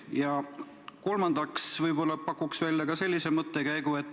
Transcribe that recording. Ja kolmandaks pakun välja sellise mõttekäigu.